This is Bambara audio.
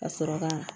Ka sɔrɔ ka